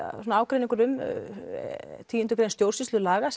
svona ágreiningur um tíu grein stjórnsýslulaga